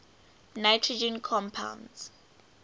nitrogen compounds